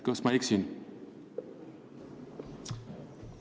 Kas ma eksin?